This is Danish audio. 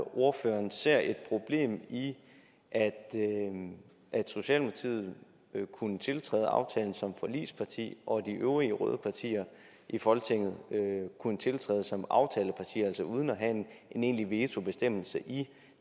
ordføreren ser et problem i at at socialdemokratiet kunne tiltræde aftalen som forligsparti og at de øvrige røde partier i folketinget kunne tiltræde som aftalepartier altså uden at have en egentlig vetobestemmelse i